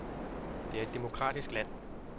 Det er et demokratisk land.